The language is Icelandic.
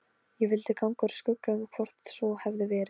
Ég vildi ganga úr skugga um hvort svo hefði verið.